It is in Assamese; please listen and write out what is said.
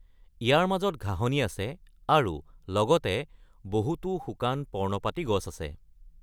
ইয়াৰ মাজত ঘাঁহনি আছে আৰু লগতে বহুতো শুকান পৰ্ণপাতী গছ আছে।